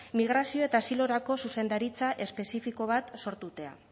migrazio eta asilorako zuzendaritza espezifiko bat sortute